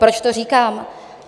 Proč to říkám?